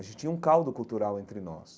A gente tinha um caldo cultural entre nós.